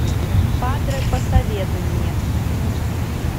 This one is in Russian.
падре посоветуй мне